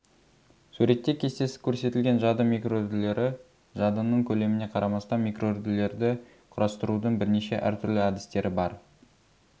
суретте кестесі көрсетілген жады микроүрділері жадының көлеміне қарамастан микроүрділерді құрастырудың бірнеше әр түрлі әдістері бар